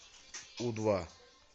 у два